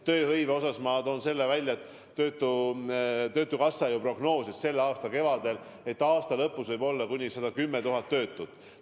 Tööhõive osas ma toon välja, et töötukassa ju prognoosis selle aasta kevadel, et aasta lõpus võib olla kuni 110 000 töötut.